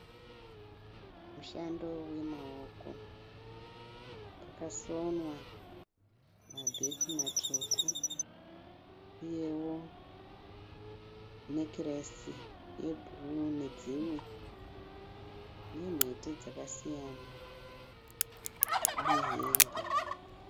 Mushando wemaoko. Pakasonwa mabheke matsvuku, uyewo nekiresi ye bruu nedzimwe nemhete dzakasiyana nehembe.